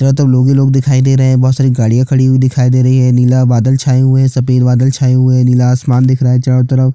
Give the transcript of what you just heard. चारो तरफ लोग ही लोग दिखाई दे रहै है बहोत सारे गाड़िया खड़ी हुई दिखाई दे रही है नीला बादल छाए हुए है सफ़ेद बादल छाए हुए है नीला आसमान दिख रहा है चारो तरफ--